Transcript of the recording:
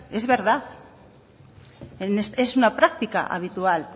es verdad es una práctica habitual